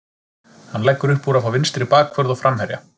Hann leggur uppúr að fá vinstri bakvörð og framherja.